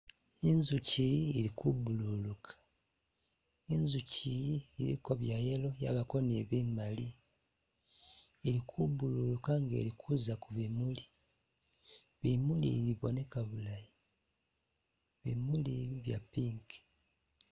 Inzuchi iyi ili ku bululuka nzuchi iyi iliko bya'yellow, iliko ne bimaali, ili ku bululuka nga ili kuza kubimuli, bimuli bi biboneka bulayi, bimuli ibi bya'pink.